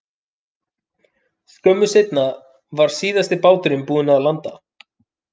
Skömmu seinna var síðasti báturinn búinn að landa.